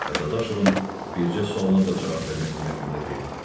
və Dadaşovun bircə sualına da cavab vermək niyyətində deyil.